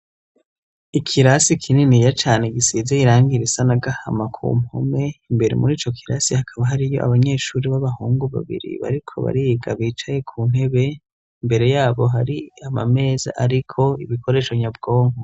Ikirasi kininiya cane gisize irangi risa n'ahama ku mpome; imbere muri co kirasi hakaba hariyo abanyeshuri b'abahungu babiri bariko bariga bicaye ku ntebe; Imbere yabo hari amameza ariko ibikoresho nyabwongo.